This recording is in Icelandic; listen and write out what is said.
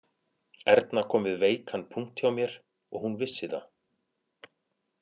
Erna kom við veikan punkt hjá mér og hún vissi það